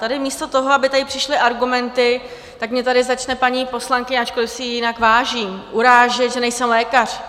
Tady místo toho, aby tady přišly argumenty, tak mě tady začne paní poslankyně, ačkoliv si jí jinak vážím, urážet, že nejsem lékař.